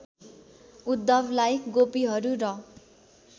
उद्धवलाई गोपीहरू र